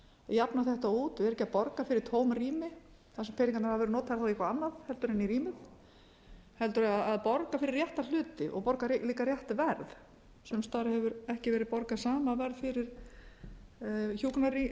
jafna þetta út vera ekki að borga fyrir tóm rými þar sem peningarnir hafa verið notaðir í eitthvað annað heldur en í rýmum heldur að borga fyrir rétta hluti og borga líka rétt verð sums staðar hefur ekki verið borgað sama verð fyrir hjúkrunarrýmin það